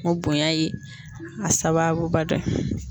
O bonya ye a sababuba dɔ ye.